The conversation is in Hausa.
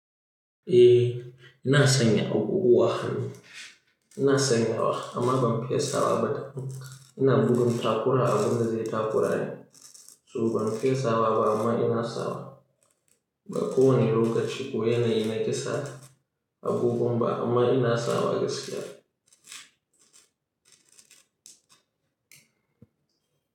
Eh, ina sanya abubuwa hannu. Ina sanyawa amma ban fesa wa ba da. Ina gudun takura abun da zai taƙura ne. So ban fesa wa ba amma ina sawa. Ba kowane lokaci ko yanayi na kesa abubuwa ba amma ina sawa gaskiya.